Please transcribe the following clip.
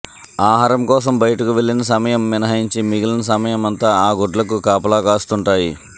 ఆహారం కోసం బయటకు వెళ్లిన సమయం మినహాయించి మిగిలిన సమయమంతా ఆ గుడ్లకు కాపాలాకాస్తూంటాయి